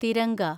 Tiranga